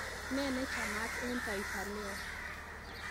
nee nechamat eng taifa leo